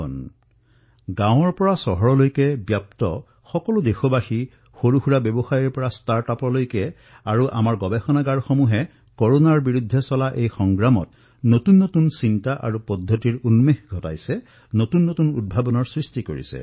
সমগ্ৰ দেশবাসীয়ে গাঁৱৰ পৰা আৰম্ভ কৰি চহৰলৈ আমাৰ ক্ষুদ্ৰ ব্যৱসায়ীৰ পৰা আৰম্ভ কৰি ষ্টাৰ্টআপলৈ আমাৰ গৱেষণাগাৰসমূহে কৰোনাৰ বিৰুদ্ধে যুদ্ধত নতুন নতুন প্ৰণালী আৱিষ্কাৰ কৰিছে নতুন নতুন উদ্ভাৱন কৰিছে